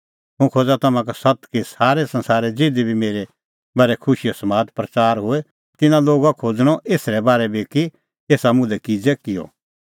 हुंह खोज़ा तम्हां का सत्त कि सारै संसारै ज़िधी बी मेरै बारै खुशीओ समाद प्रच़ार होए तिन्नां लोगा खोज़णअ एसरै बारै बी कि एसा मुल्है किज़ै किअ